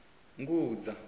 ngudza